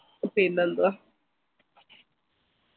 പിന്നെ ന്തുവാ